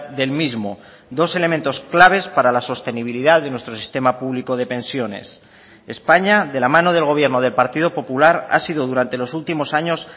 del mismo dos elementos claves para la sostenibilidad de nuestro sistema público de pensiones españa de la mano del gobierno del partido popular ha sido durante los últimos años